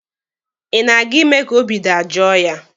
Ị na-aga ime ka obi dajoo ya?